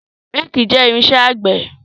Réèkì jẹ́ irinṣẹ́ àgbẹ̀.